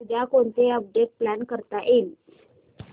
उद्या कोणतं update plan करता येईल